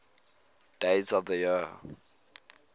days of the year